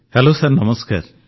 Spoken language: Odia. ହେଲୋ ସାର୍ ନମସ୍କାର